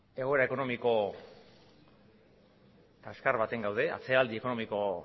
egoera ekonomiko kaskar batean gaude atzeraldi ekonomiko